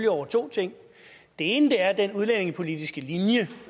over to ting den ene er den udlændingepolitiske linje